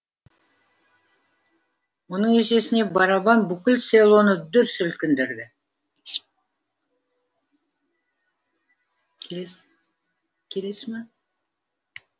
оның есесіне барабан бүкіл селоны дүр сілкіндірді